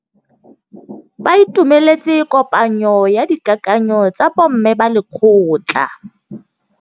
Ba itumeletse kôpanyo ya dikakanyô tsa bo mme ba lekgotla.